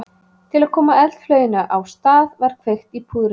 Til að koma eldflauginni á stað var kveikt í púðrinu.